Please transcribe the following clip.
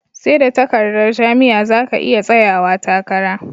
Seda takardar jam'iya zaka iya tsayawa takara